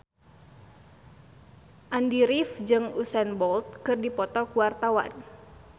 Andy rif jeung Usain Bolt keur dipoto ku wartawan